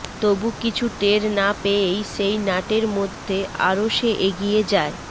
তবু কিছু টের না পেয়েই সেই নাটের মধ্যে আরো সে এগিয়ে যায়